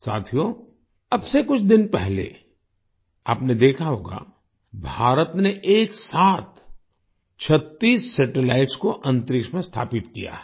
साथियो अब से कुछ दिन पहले आपने देखा होगा भारत ने एक साथ 36 सैटेलाइट्स को अंतरिक्ष में स्थापित किया है